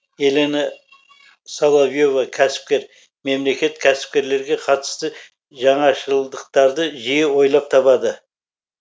елена соловье ва кәсіпкер мемлекет кәсіпкерлерге қатысты жаңашылдықтарды жиі ойлап табады